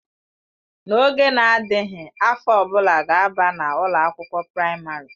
N'oge na-adịghị, afọ ọ bụla ga-aba na ụlọ akwụkwọ praịmarị.